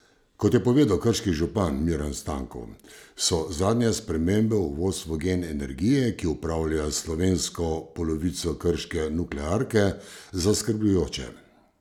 Kot je povedal krški župan Miran Stanko, so zadnje spremembe v vodstvu Gen energije, ki upravlja s slovensko polovico krške nuklearke, zaskrbljujoče.